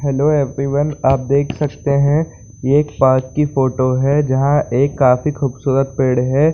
Hello everyone आप देख सकते है ये एक पार्क की फोटो है जहाँ एक काफी खूबसूरत पेड़ है।